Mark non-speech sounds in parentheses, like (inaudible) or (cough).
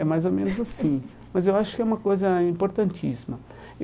É mais ou menos assim, (laughs) mas eu acho que é uma coisa importantíssima.